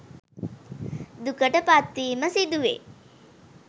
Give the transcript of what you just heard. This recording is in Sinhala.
දුකට පත්වීම සිදුවේ.